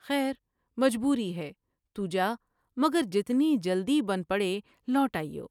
خیر مجبوری ہے تو جامگر جتنی جلدی بن پڑے لوٹ آئیو ''